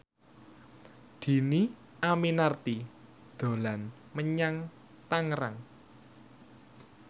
Dhini Aminarti dolan menyang Tangerang